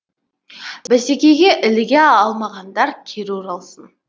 бәсекеге іліге алмағандар кері оралсын